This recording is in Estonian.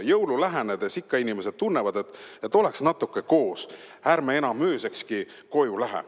Jõulu lähenedes ikka inimesed tunnevad, et oleks natuke koos, ärme lähme enam öösekski koju.